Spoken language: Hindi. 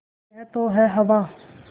यह तो है हवा